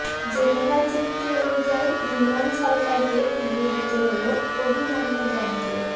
Geneva চুক্তি অনুযায়ী ইমরান সরকারকে ফিরিয়ে দিত হল অভিনন্নদনকে